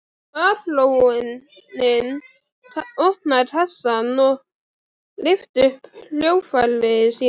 Baróninn opnaði kassann og lyfti upp hljóðfæri sínu.